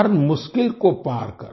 हर मुश्किल को पार कर